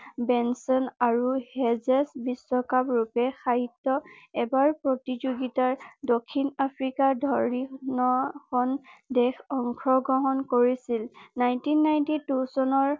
বিশ্বকাপ ৰূপে সাহিত্য এবাৰ প্ৰতিযোগিতাৰ দক্ষিণ আফ্ৰিকা ধৰি ন খন দেশ অংশ গ্ৰহণ কৰিছিল নাইনটিন নাইটি টু চনৰ